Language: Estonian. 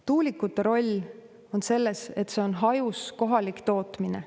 Tuulikute roll on selles, et see on hajus, kohalik tootmine.